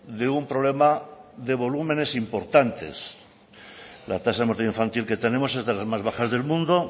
de un problema de volúmenes importantes la tasa de mortalidad infantil que tenemos es de las más bajas del mundo